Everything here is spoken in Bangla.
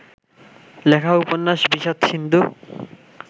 লেখা উপন্যাস বিষাদসিন্ধু